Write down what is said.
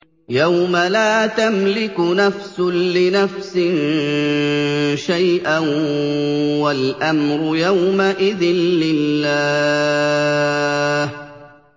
يَوْمَ لَا تَمْلِكُ نَفْسٌ لِّنَفْسٍ شَيْئًا ۖ وَالْأَمْرُ يَوْمَئِذٍ لِّلَّهِ